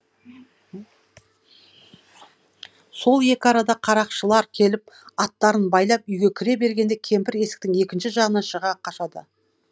сол екі арада қарақшылар келіп аттарын байлап үйге кіре бергенде кемпір есіктің екінші жағынан шыға қашады